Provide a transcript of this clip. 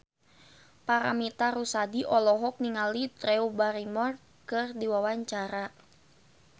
Paramitha Rusady olohok ningali Drew Barrymore keur diwawancara